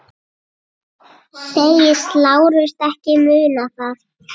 Segist Lárus ekki muna það.